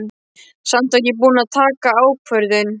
Samt var ég búin að taka ákvörðun.